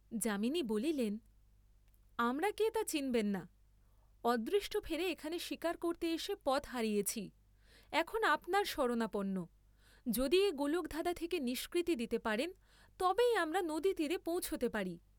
যামিনী বলিলেন, আমরা কে তা চিনবেন না, অদৃষ্টফেরে এখানে শীকার করতে এসে পথ হারিয়েছি, এখন আপনার শরণাপন্ন, যদি এ গোলকধাঁধা থেকে নিষ্কৃতি দিতে পারেন তবেই আমরা নদীতীরে পৌঁছতে পারি।